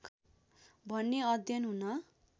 भन्ने अध्ययन हुन